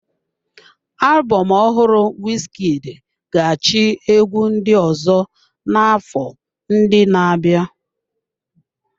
Alubom ohụrụ Wizkid ga-achị egwu ndị ọzọ n'afọ ndị na-abịa.